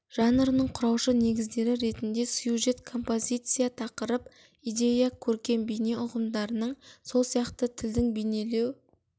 жанрының құраушы негіздері ретінде сюжет композиция тақырып идея көркем бейне ұғымдарының сол сияқты тілдің бейнелеу